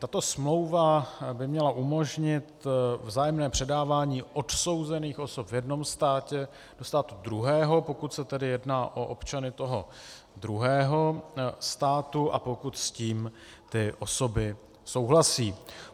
Tato smlouva by měla umožnit vzájemné předávání odsouzených osob v jednom státě do státu druhého, pokud se tedy jedná o občany toho druhého státu a pokud s tím ty osoby souhlasí.